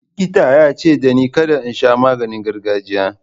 Likita ya ce dani kada in sha maganin gargajiya.